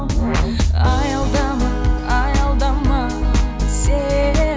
аялдама аялдама сен